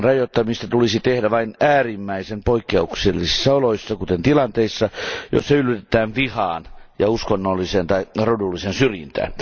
Sen rajoittamista tulisi tehdä vain äärimmäisen poikkeuksellisissa oloissa, kuten tilanteissa, joissa yllytetään vihaan ja uskonnolliseen tai rodulliseen syrjintään.